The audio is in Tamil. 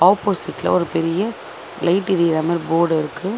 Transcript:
ஆப்போசிட்ல ஒரு பெரிய லைட் எரியிற மாரி போடு இருக்கு.